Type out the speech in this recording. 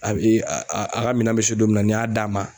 A b e a a ka minan bɛ se don min na n'i y'a d'a ma